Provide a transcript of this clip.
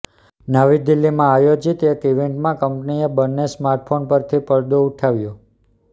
નવી દિલ્હીમાં આયોજિત એક ઈવેન્ટમાં કંપનીએ બંને સ્માર્ટફોન પરથી પડદો ઉઠાવ્યો